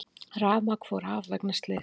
Rafmagn fór af vegna slyss